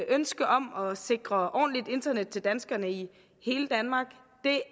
ønske om at sikre ordentligt internet til danskerne i hele danmark